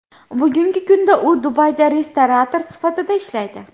Bugungi kunda u Dubayda restorator sifatida ishlaydi.